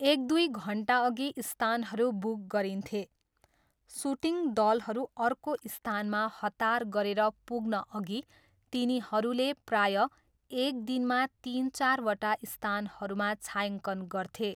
एक दुई घन्टाअघि स्थानहरू बुक गरिन्थे, सुटिङ दलहरू अर्को स्थानमा हतार गरेर पुग्नअघि तिनीहरूले प्रायः एक दिनमा तिन चारवटा स्थानहरूमा छायाङ्कन गर्थे।